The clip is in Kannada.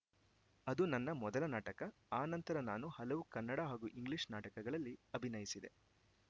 ಅದು ನನ್ನ ಮೊದಲ ನಾಟಕ ಆ ನಂತರ ನಾನು ಹಲವು ಕನ್ನಡ ಹಾಗೂ ಇಂಗ್ಲಿಷ್‌ ನಾಟಕಗಳಲ್ಲಿ ಅಭಿನಯಿಸಿದೆ